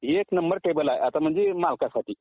एक number table आहे आता म्हणजे मालकांसाठी